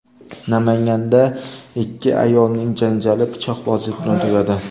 Namanganda ikki ayolning janjali pichoqbozlik bilan tugadi.